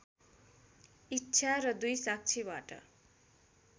इच्छा र २ साक्षीबाट